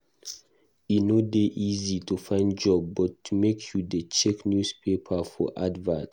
E no dey easy to find job but make you dey check newspaper for advert.